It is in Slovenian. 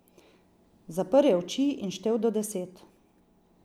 Zaprl je oči in štel do deset.